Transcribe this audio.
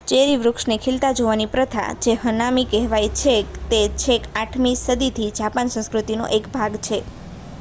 ચેરિના વૃક્ષને ખીલતા જોવાની પ્રથા જે હનામી કહેવાય છે તે છેક 8મી સદીથી જાપાની સંસ્કૃતિનો એક ભાગ છે